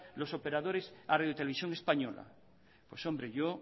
los operadores a radio televisión española pues hombre yo